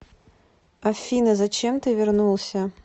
афина зачем ты вернулся